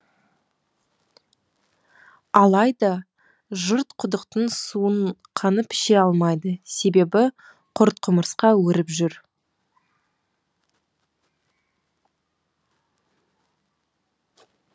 алайда жұрт құдықтың суын қанып іше алмайды себебі құрт құмырсқа өріп жүр